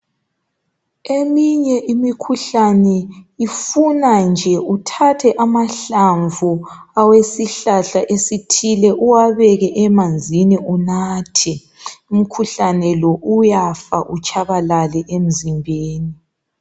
Eminye imikhuhlane ifuna nje uthathe amahlamvu awesihlahla esithile uwabeke emanzini unathe. Umkhuhlane lo uyafa utshabalale emzimbeni.